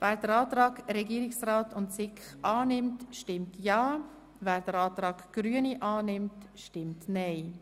Wer den Antrag SiK und Regierungsrat annimmt, stimmt ja, wer den Antrag Grüne annimmt, stimmt nein.